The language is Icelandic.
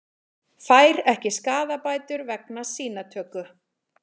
Fær ekki skaðabætur vegna sýnatöku